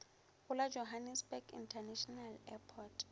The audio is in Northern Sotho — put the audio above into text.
go la johannesburg international airport